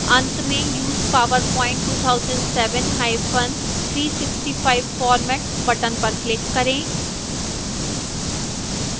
अंत में use powerpoint 2007365 format button पर click करें